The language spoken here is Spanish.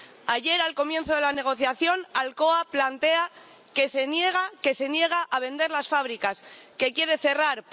Ayer, al comienzo de la negociación, Alcoa plantea que se niega a vender las fábricas, que quiere cerrar.